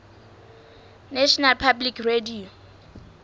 national public radio